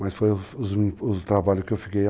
mas foi o trabalho que eu fiquei.